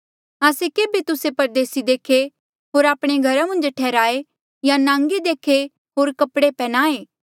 आस्से केभे तुस्से परदेसी देखे होर आपणे घरा मन्झ ठैहराये या नांगे देखे होर कपड़े पन्ह्याए